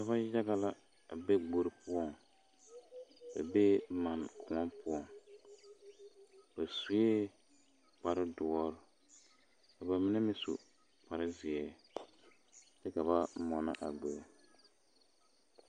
Dɔbɔ yaga la a be gbori poɔŋ ba bee manne kõɔ poɔŋ ba sue kpare doɔre ka ba mine meŋ su kparre zeɛ, kyɛ ka ba mɔnɔ a gbori.